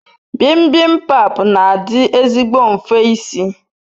Bibimbap n'adi ezigbo nfe isi